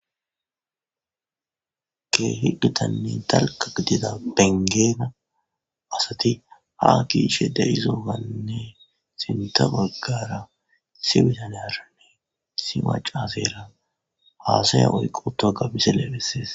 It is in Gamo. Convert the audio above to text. kee higitanne talka gidida bengeena asati ha kiishe de7izooganne sinta baggara si witane arane si macasera haasaya oyqu ta gabise leephessees